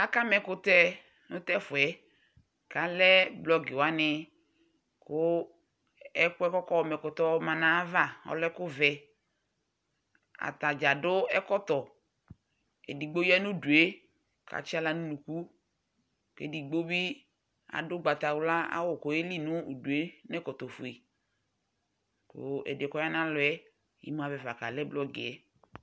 aka ma ɛkutɛ no t'ɛfu yɛ k'alɛ blɔk wani kò ɛkòɛ k'ɔka ma ɛkutɛ yɛ ɔma n'ava ɔlɛ ɛkò vɛ atadza adu ɛkɔtɔ edigbo ya no udu yɛ k'atsi ala n'unuku k'edigbo bi adu ugbata wla awu k'oyeli n'udu yɛ n'ɛkɔtɔ fue kò ɛdi yɛ k'ɔya n'alɔ yɛ imu avɛ fa kalɛ blɔk yɛ